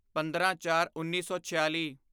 ਪੰਦਰਾਂਚਾਰਉੱਨੀ ਸੌ ਛਿਆਲੀ